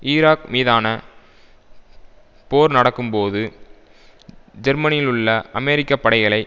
Iraq மீதான போர் நடக்கும்போது ஜெர்மனியிலுள்ள அமெரிக்க படைகளை